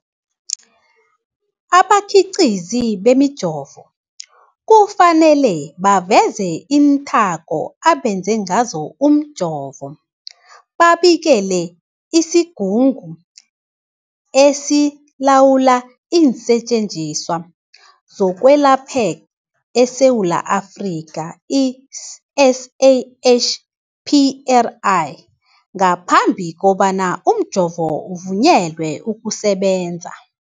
Abakhiqizi bemijovo kufanele baveze iinthako abenze ngazo umjovo, babikele isiGungu esiLawula iinSetjenziswa zokweLapha eSewula Afrika, i-SAHPRA, ngaphambi kobana umjovo uvunyelwe ukusebenza.